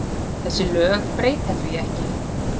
Þessi lög breyta því ekki.